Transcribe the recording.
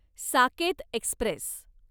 Saket Express